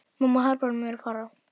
Mamma harðbannar mér að fara.